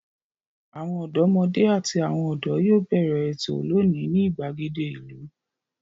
Àwọn ọ̀dọ́mọdé àti àwọn ọ̀dọ́ yóò bẹ̀rẹ̀ ètò lónìí ní ìgbàgede ìlú.